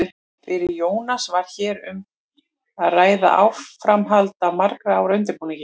Fyrir Jónas var hér um að ræða áframhald af margra ára undirbúningi.